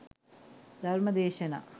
ධර්ම දේශනා